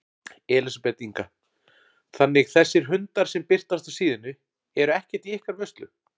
Elísabet Inga: Þannig þessir hundar sem birtast á síðunni eru ekkert í ykkar vörslu?